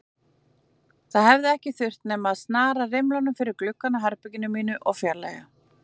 Það hefði ekki þurft nema að snara rimlum fyrir gluggann á herberginu mínu og fjarlægja